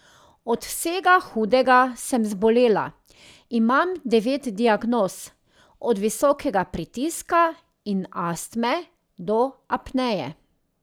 Od vsega hudega sem zbolela, imam devet diagnoz, od visokega pritiska in astme do apneje.